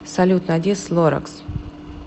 салют найди слоракс